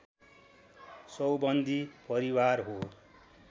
चौबन्दी परिवार हो